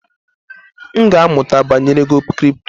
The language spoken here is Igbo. M ga-amụta banyere ego kripto.